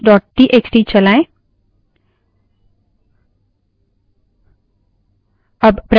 cat space files dot txt cat space files dot txt चलाएँ